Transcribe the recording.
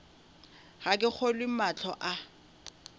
ga ke kgolwe mahlo a